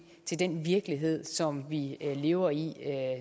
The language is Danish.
til den virkelighed som vi lever i